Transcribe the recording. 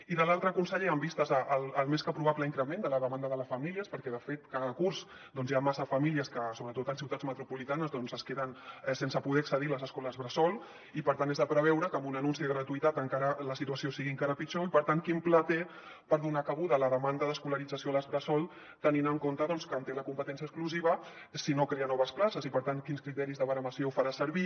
i de l’altre conseller amb vistes al més que probable increment de la demanda de les famílies perquè de fet doncs cada curs hi ha massa famílies que sobretot en ciutats me tropolitanes doncs es queden sense poder accedir a les escoles bressol i per tant és de preveure que amb un anunci de gratuïtat la situació sigui encara pitjor i per tant quin pla té per donar cabuda a la demanda d’escolarització a les bressol tenint en compte que en té la competència exclusiva si no crea noves places i per tant quins criteris de baremació farà servir